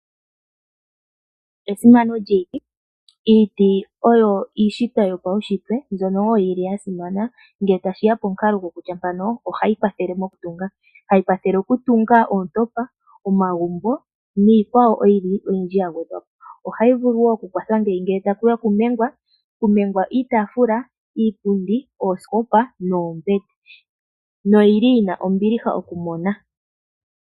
Esimano lyiiti Iiti oyo iishitwa yopaushitwe mbyono wo yi li ya simana ngele tashi ya pomukalo gokutya mpano ohayi kwathele okutunga. Hayi kwathele okutunga oontopa, omagumbo niikwawo oyindji oyindji ya gwedhwa po. Ohayi vulu okukwatha ngeyi ngele taku ya okumengwa; okumengwa iitaafula, iipundi, oosikopa noombete noyi li yi na ombiliha okumona.